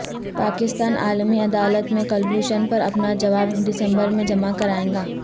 پاکستان عالمی عدالت میں کلبھوشن پر اپنا جواب دسمبر میں جمع کرائے گا